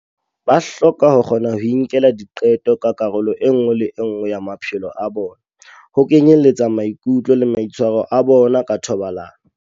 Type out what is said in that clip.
Ba hloka ho kgona ho inkela diqeto ka karolo e nngwe le e nngwe ya maphelo a bona, ho kenyeletsa maikutlo le maitshwaro a bona ka thobalano.